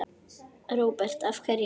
Róbert: Af hverju?